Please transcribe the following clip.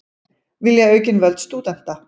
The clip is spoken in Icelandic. Vilja aukin völd stúdenta